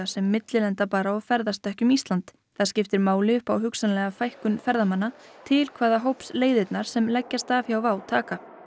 sem millilenda bara og ferðast ekki um Ísland það skiptir máli upp á hugsanlega fækkun ferðamanna til hvaða hóps leiðirnar sem leggjast af hjá WOW taka